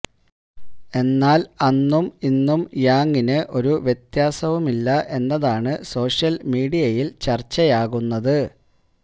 എന്നാല് അന്നും ഇന്നും യാങ്ങിന് ഒരു വ്യത്യാസവുമില്ല എന്നതാണ് സോഷ്യല് മീഡിയയില് ചര്ച്ചയാകുന്നത്